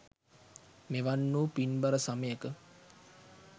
මෙවන් වූ පින්බර සමයක